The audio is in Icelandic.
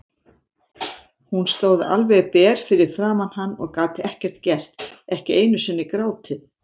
Hún stóð alveg ber fyrir framan hann og gat ekkert gert, ekki einu sinni grátið.